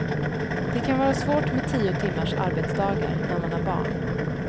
Det kan vara svårt med tio timmars arbetsdagar när man har barn.